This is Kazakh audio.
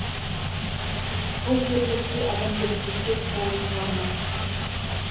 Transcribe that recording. бұл ерлікке адамгершілікке толы шығарма